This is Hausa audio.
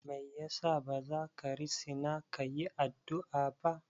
Me yasa bazaka risina kayi addu'a ba?